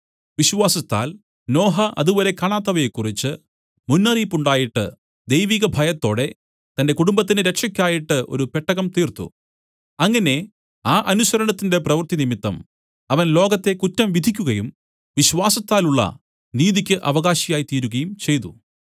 വിശ്വാസത്താൽ നോഹ അതുവരെ കാണാത്തവയെക്കുറിച്ച് മുന്നറിയിപ്പുണ്ടായിട്ട് ദൈവിക ഭയത്തോടെ തന്റെ കുടുംബത്തിന്റെ രക്ഷക്കായിട്ട് ഒരു പെട്ടകം തീർത്തു അങ്ങനെ ആ അനുസരണത്തിന്റെ പ്രവർത്തി നിമിത്തം അവൻ ലോകത്തെ കുറ്റം വിധിക്കുകയും വിശ്വാസത്താലുള്ള നീതിയ്ക്ക് അവകാശിയായി തീരുകയും ചെയ്തു